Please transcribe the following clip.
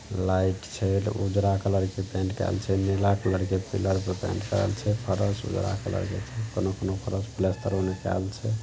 Light छै उजरा colour के पैन्ट केल छै। नीला कलर के पिलर पर पैन्ट करल छै फरश उजरा कलर के छै। कोनो-कोनो फर्श --